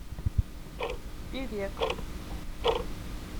певек